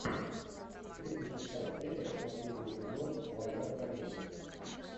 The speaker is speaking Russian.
тридцать шестая серия последний сезон война в корее